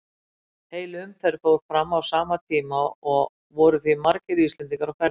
Heil umferð fór fram á sama tíma og voru því margir Íslendingar á ferðinni.